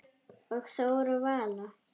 Og Þóra og Vala?